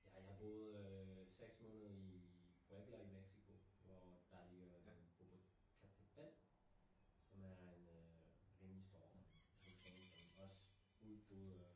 Ja jeg boede øh 6 måneder i Puebla i Mexico, hvor der ligger Popocatépetl som er en øh rimelig stor vulkan som også udbryder